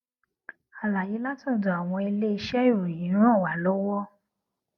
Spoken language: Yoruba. àlàyé látòdò àwọn iléiṣé ìròyìn ràn wá lówó